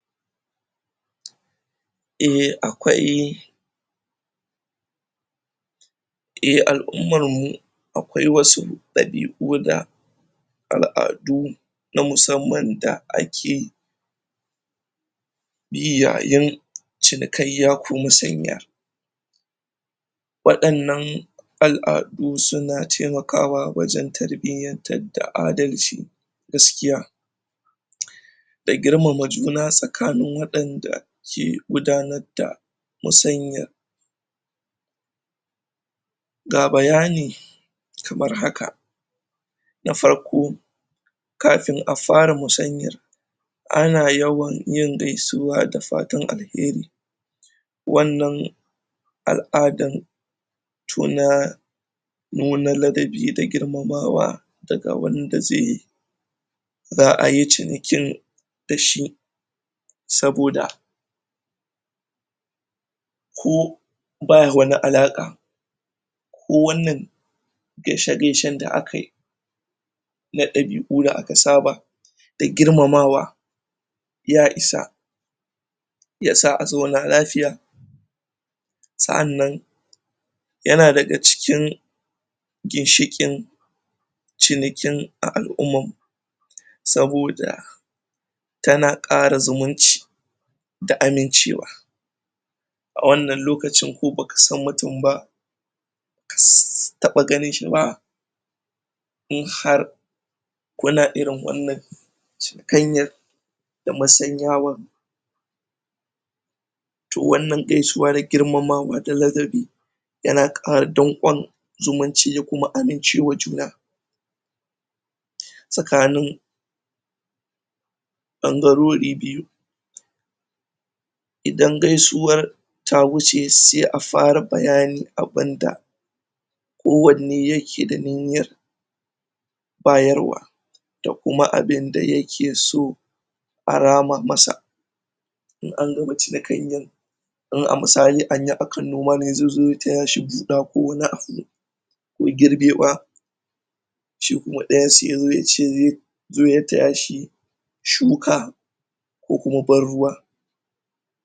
Eh akwai eh alummar mu akwai wa su dabiu da aladu na musamman da a ke bi yayen cinikaya ko masanya wadannan al'adu su na temakawa wajen tarbiyantar da adalci gaskiya da girmama juna tsakanin wadanda ke gudanar da musanya ga bayani kamar haka na farko kafin a fara musanyar ana yawan gaisuwa da fatan alheri wannan al'adan tuna nuna ladabi da girmamawa da ga wanda ze za'a yi cinikin da shi saboda ko ba wani alaka ko wannan geishe-geishe da aka yi na dabi'u da aka saba da girmamawa ya isa ya sa a zauna lafiya. Sa'annan ya na da ga cikin ginshikin cinikin a al'umma saboda ta na kara zumunci da amincewa a wannan lokacin ko ba ka san mutum ba ka taba ganin shi ba in har kuna irin wannan cinikanya da masanyawa toh wannan geisuwa na girmamawa da ladabi ya na kara dankuwan zumunci ya kuma amunci wa juna tsakanin idan gaisuwar ta wuce, se a fara bayani abunda ko wanne ya ke da niyar bayarwa da kuma abunda ya ke so a rama masa in an gama cire kanyan sannan a misali anya akan noma ne ze zo ya taya shi buda ko wani abu me girbewa shi kuma daya se ya zo ya ce ze zo ya taya shi shuka ko kuma ban ruwa.